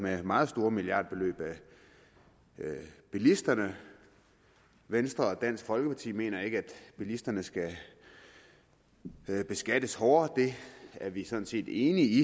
med meget store milliardbeløb af bilisterne venstre og dansk folkeparti mener ikke at bilisterne skal beskattes hårdere det er vi sådan set enige i